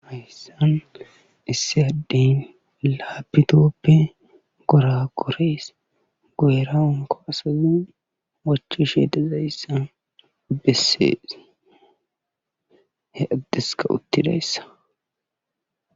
Hayssan isssi addey laaappitooppr goraagoree guyera hankko asay wochishe dizayssa bessees ha addeskka uttidayssa.